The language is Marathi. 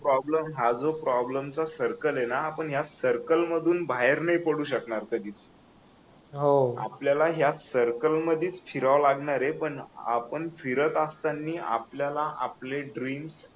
प्रॉब्लेम हा जो प्रॉब्लेम चा सर्कल आहे ना आपण या सर्कल मधून बाहेर नाही पडू शकणार कधीच आपल्याला या सर्कलमध्ये शिरावं लागणार आहे पण फिरत असताना आपल्याला आपले ड्रीम